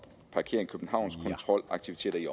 parkering københavns kontrolaktiviteter i